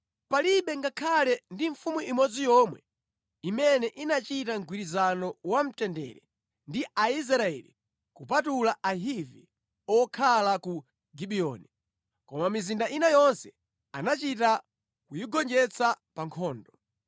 Palibe ngakhale ndi mfumu imodzi yomwe imene inachita mgwirizano wa mtendere ndi Aisraeli kupatula Ahivi okhala ku Gibiyoni. Koma mizinda ina yonse anachita kuyigonjetsa pa nkhondo.